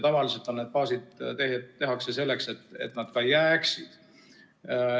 Tavaliselt tehakse neid baase selleks, et nad ka jääksid.